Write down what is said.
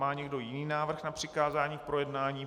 Má někdo jiný návrh na přikázání k projednání?